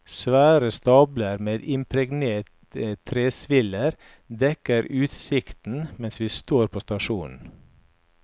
Svære stabler med impregnerte tresviller dekker utsikten mens vi står på stasjonen.